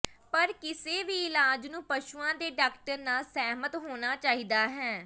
ਪਰ ਕਿਸੇ ਵੀ ਇਲਾਜ ਨੂੰ ਪਸ਼ੂਆਂ ਦੇ ਡਾਕਟਰ ਨਾਲ ਸਹਿਮਤ ਹੋਣਾ ਚਾਹੀਦਾ ਹੈ